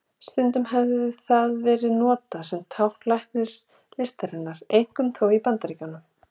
Stundum hefur það verið notað sem tákn læknislistarinnar, einkum þó í Bandaríkjunum.